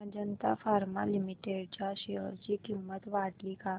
Ajanta pharma limited च्या share ची किंमत वाढली का